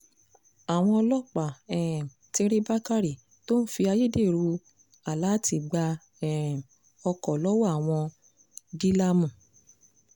àwọn ọlọ́pàá um ti rí bákérè tó ń fi ayédèrú aláàtì gbá um ọkọ̀ lọ́wọ́ àwọn dílà mú